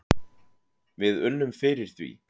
Við unnum fyrir því.